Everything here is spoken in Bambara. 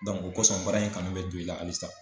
o ko sɔn baara in kanu bɛ don i la halisa